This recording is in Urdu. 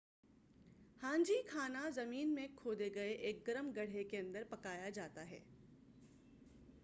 ہانجی کھانا زمین میں کھودے گئے ایک گرم گڑھے کے اندر پکایا جاتا ہے